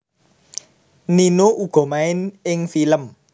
Nino uga main ing film